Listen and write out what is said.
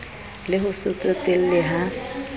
le ho se tsotelle ha